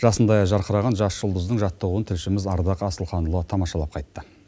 жасындай жарқыраған жас жұлдыздың жаттығуын тілшіміз ардақ асылханұлы тамашалап қайтты